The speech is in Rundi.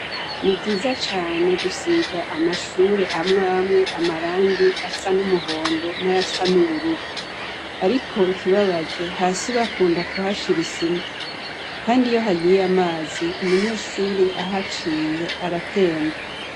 Ni vyiza cane gusiga amashure amwe amwe amarangi asa n' umuhondo n' ayasa n' ubururu. Ariko ikibabaje, hasi bakunda kuhashira isima kandi iyo hagiye amazi, umunyeshuri ahaciye aratemba.